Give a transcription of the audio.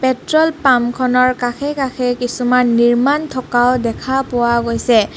Petrol pump খনৰ কাষে কাষে কিছুমান নিৰ্মাণ থকাও দেখা পোৱা গৈছে.